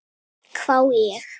hvái ég.